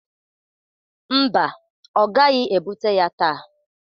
Mba, ọ gaghi ebute ya taa.